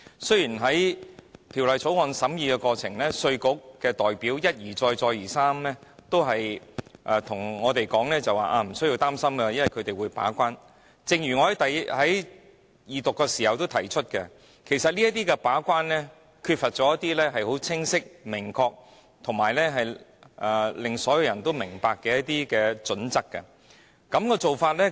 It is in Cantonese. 雖然在審議《條例草案》的過程中，稅務局的代表一再告訴我們無須擔心，因為有他們負責把關，但正如我在二讀法案時亦曾指出，他們在把關時，卻欠缺清晰而所有人也明白的準則作為依據。